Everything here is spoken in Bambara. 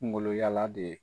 yalaa de